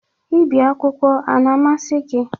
Ibi akwụkwọ a na-amasị gị?